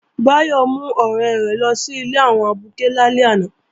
Báyọ̀ mú ọ̀rẹ́ rẹ̀ lọ sí ilé àwọn abuké lálẹ́ àná